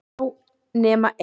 Já, nema ein!